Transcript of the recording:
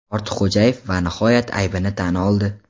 Ortiqxo‘jaev va nihoyat aybini tan oldi.